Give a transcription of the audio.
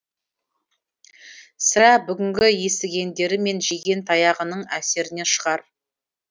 сірә бүгінгі естігендері мен жеген таяғының әсерінен шығар